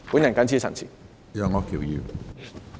我謹此陳辭。